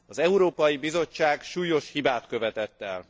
Az Európai Bizottság súlyos hibát követett el.